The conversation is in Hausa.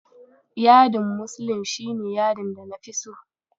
Yadin muslin shi ne yadin da nafi so.